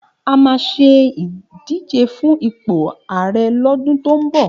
A máa ṣe ìdíje fún ipò arẹ lọ́dún tó ń bọ̀.